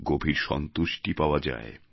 গভীর সন্তুষ্টি পাওয়া যায়